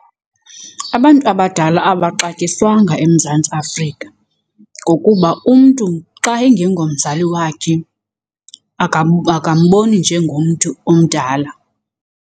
Abantu abadala abaxatyiswanga eMzantsi Afrika ngokuba umntu xa engengomzali wakhe akamboni njengomntu umdala.